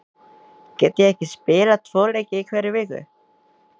Get ég ekki spilað tvo leiki í hverri viku?